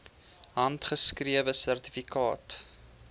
handgeskrewe sertifikate